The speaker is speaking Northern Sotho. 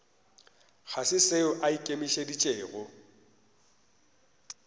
ga se seo a ikemišeditšego